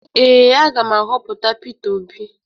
Ee, a ga m ahọpụta Peter Obi